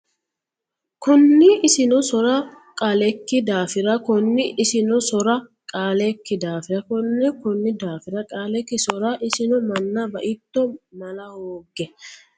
Konni Isino soorra Qaalekki daafira Konni Isino soorra Qaalekki daafira Konni Konni daafira Qaalekki soorra Isino Manna baitto mala hoogge !